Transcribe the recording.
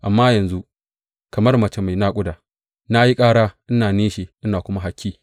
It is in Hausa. Amma yanzu, kamar mace mai naƙuda, na yi ƙara, ina nishi ina kuma haki.